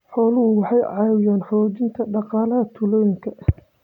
Xooluhu waxay ka caawiyaan xoojinta dhaqaalaha tuulooyinka.